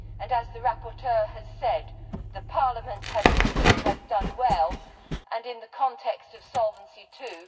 As the rapporteur has said, the Parliament team has done well and in the context of Solvency II